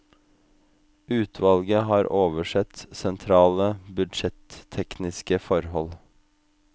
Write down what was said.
Utvalget har oversett sentrale budsjettekniske forhold.